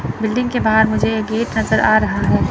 Building के बाहर मुझे एक गेट नज़र आ रहा है।